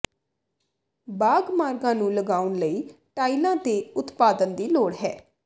ਬਾਗ਼ ਮਾਰਗਾਂ ਨੂੰ ਲਗਾਉਣ ਲਈ ਟਾਇਲਾਂ ਦੇ ਉਤਪਾਦਨ ਦੀ ਲੋੜ ਹੈ